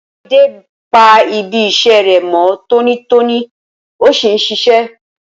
Olamide pa ibi iṣẹ́ rẹ̀ mọ́ tónítóní ó sì ń ṣiṣẹ́.